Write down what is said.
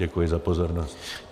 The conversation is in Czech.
Děkuji za pozornost.